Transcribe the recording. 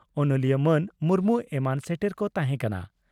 ᱚᱱᱚᱞᱤᱭᱟᱹ ᱢᱟᱱ ᱢᱩᱨᱢᱩ ᱮᱢᱟᱱ ᱥᱮᱴᱮᱨ ᱠᱚ ᱛᱟᱦᱮᱸᱠᱟᱱᱟ ᱾